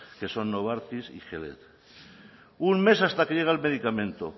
que son novartis y gilead un mes hasta que llega el medicamento